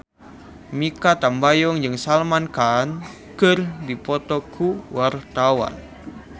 Mikha Tambayong jeung Salman Khan keur dipoto ku wartawan